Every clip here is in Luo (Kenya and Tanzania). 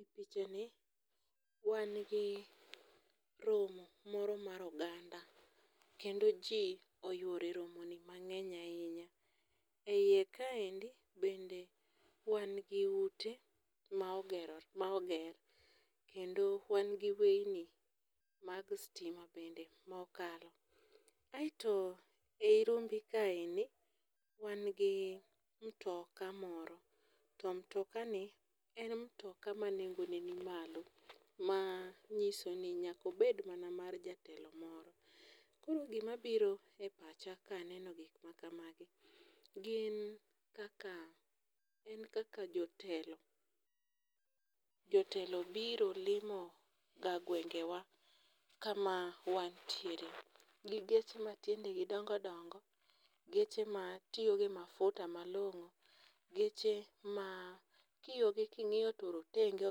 E pichani wan gi romo moro mar oganda kendo ji oyuoro e romoni mang'ewny ahinya. E iye kaendi bende wan gi ute ma oger kendo wan gi weyni mag stima bende ma okalo, aeto e i rumbi kaendi wangi mtoka moro to mtokani en mtoka ma nengone ni malo manyiso ni nyakobed mana mar jatelo moro. Koro gimabiro e pacha kaneno gik makamagi en kaka jotelo biro limo ga gwengewa kama wantiere gi geche matiendegi dongodongo geche matiyo gi mafuta malong'o, geche ma kiogi king'iyo to rotenge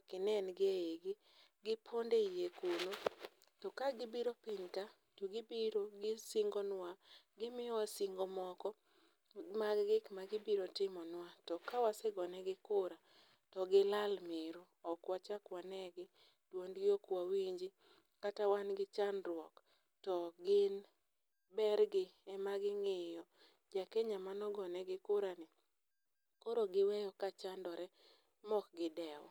okinengi e igi, gipondo e iye kuno to kagibiro piny ka to gibiro gisingonwa gimiyowa singo moko mag gik magibiro timonwa to ka wasegonigi kura to gilal miru, okwachak wanegi duondgi okwawinji kata wan gi chandruok to gin bergi emaging'iyo jakenya manogonegi kurano koro giwe ka chandore mokgidew.